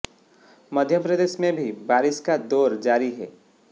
मध्य प्रदेश में भी बारिश का दौर जारी है